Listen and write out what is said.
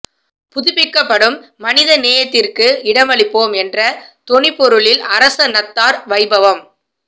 புதுப்பிக்கப்படும் மனித நேயத்திற்கு இடமளிப்போம் என்ற தொனிப்பொருளில் அரச நத்தார் வைபவம்